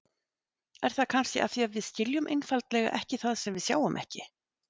Er það kannski af því við skiljum einfaldlega ekki það sem við sjáum ekki?